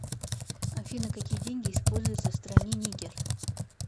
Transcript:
афина какие деньги используются в стране нигер